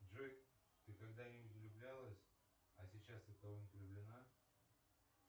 джой ты когда нибудь влюблялась а сейчас ты в кого нибудь влюблена